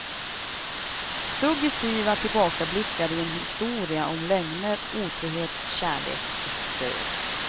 Suggestiva tillbakablickar i en historia om lögner, otrohet, kärlek och död.